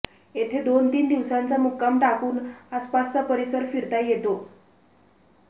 येथे दोन तीन दिवसांचा मुक्काम टाकून आसपासचा परिसर फिरता येतो